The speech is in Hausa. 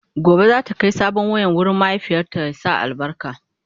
Gobe zata Kai sabon wayan wurin mahaifiyata ya sa albarka